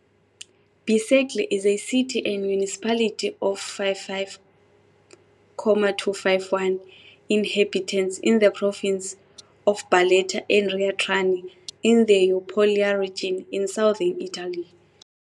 Bisceglie is a city and municipality of 55,251 inhabitants in the province of Barletta-Andria-Trani, in the Apulia region, in southern Italy.